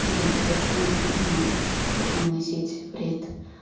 я не хочу людям вносить вред